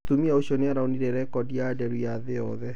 mũtumia ũcio nĩaraũnire rekodi ya nderu ya thĩ yothe